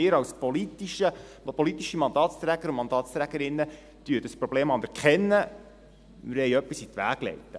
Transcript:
Wir als politische Mandatsträger und Mandatsträgerinnen erkennen das Problem, wir wollen etwas in die Wege leiten.»